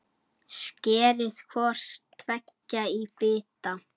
Skerið hvort tveggja í bita.